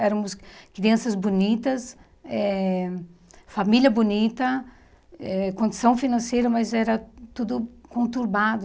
Éramos crianças bonitas, eh família bonita, eh condição financeira, mas era tudo conturbado.